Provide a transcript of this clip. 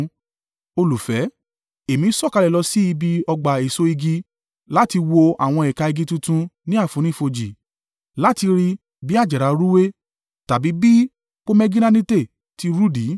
Èmi sọ̀kalẹ̀ lọ sí ibi ọgbà èso igi láti wo àwọn ẹ̀ka igi tuntun ní àfonífojì, láti rí i bí àjàrà rúwé, tàbí bí pomegiranate ti rudi.